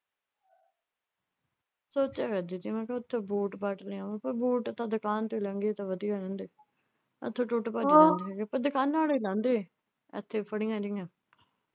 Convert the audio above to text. ਸੋਚਿਆ ਕਰਦੀ ਸੀ ਮੈਂ ਕਿਹਾ ਉਥੋਂ ਬੂਟ ਬਾਟ ਲਿਆਉਂ ਪਰ ਬੂਟ ਤਾਂ ਦੁਕਾਨ ਤੇ ਮਹਿੰਗੇ ਤੇ ਵਧੀਆ ਮਿਲਦੇ। ਇੱਥੇ ਟੁੱਟ ਭੱਜ ਜਾਂਦੇ ਪਰ ਦੁਕਾਨਾਂ ਆਲੇ ਲਾਂਦੇ ਐ ਇੱਥੇ ਫੜੀਆਂ ਜਿਹੀਆਂ।